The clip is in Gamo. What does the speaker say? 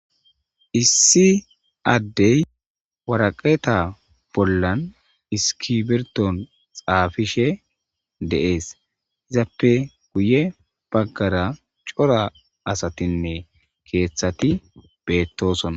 Issi addey waraqeta bollan iskiberton xaafishe deees izappe guye baggara cora asatinne keeththati beettosona.